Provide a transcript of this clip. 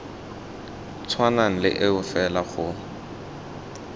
tshwanang le eo fela go